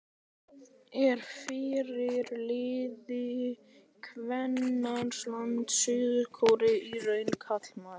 Er fyrirliði kvennalandsliðs Suður-Kóreu í raun karlmaður?